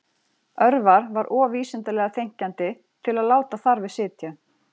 Örvar var of vísindalega þenkjandi til að láta þar við sitja